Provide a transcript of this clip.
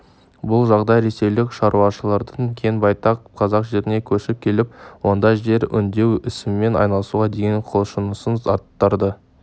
бұл жағдай ресейлік шаруалардың кең байтақ қазақ жеріне көшіп келіп онда жер өңдеу ісімен айналысуға деген құлшынысын арттырды